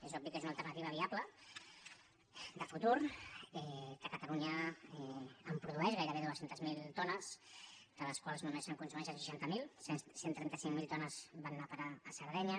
és obvi que és una alternativa viable de futur que cata·lunya en produeix gairebé dos cents miler tones de les quals només se’n consumeixen seixanta miler cent i trenta cinc mil tones van anar a parar a sardenya